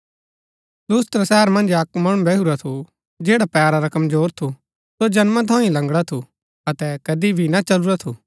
लुस्त्रा शहर मन्ज अक्क मणु बैहुरा थु जैडा पैरा रा कमजोर थु सो जन्मा थऊँ ही लंगड़ा थु अतै कदी भी ना चलुरा थु